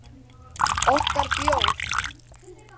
Okkar bjór.